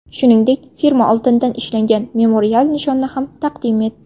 Shuningdek, firma oltindan ishlangan memorial nishonni ham taqdim etdi.